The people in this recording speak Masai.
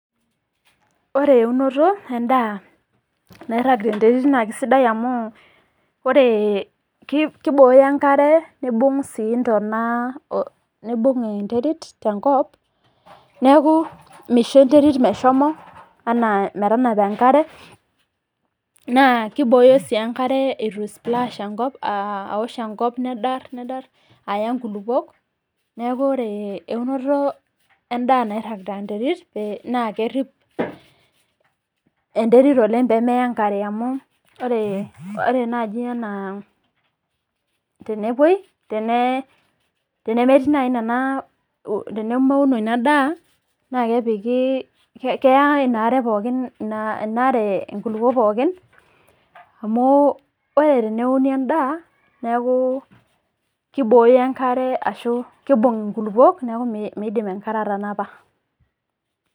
Ore eunoto endaa nairaag te interit naa kesidai amu ore kebooyo enkare neibung sii intana, neibung interit te nkop naaku meisho enterit neshomo anaa metenapa enkare naa keibooyo sii enkare etu eisuplaash enkop alo aosh enkop nedarr aya inkulupok neaku ore eunoto endaa nairag te interit naa kerip enterit oleng peemeya enkare amu ore naaji ena tenepoi tenee ,tenemetii nani nena tenemeuno ina daa naa kepiki, keyaa ina are pookin inaare enkulupo pookin amu ore teneuni endaa neaku keibooyo enkare ashu, keibung inkulupok naaku meidim enkare atanapa.